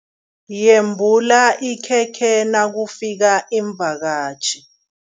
Yembula ikhekhe nakufika iimvakatjhi.